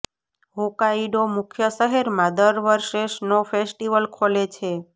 Hokkaido મુખ્ય શહેરમાં દર વર્ષે સ્નો ફેસ્ટિવલ ખોલે છે